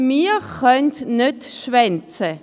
Wir können nicht schwänzen!